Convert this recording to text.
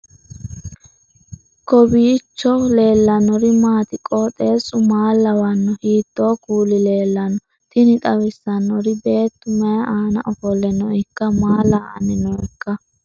kowiicho leellannori maati ? qooxeessu maa lawaanno ? hiitoo kuuli leellanno ? tini xawissannori beetu mayi aana ofolle nooikka maa la'anni nooikka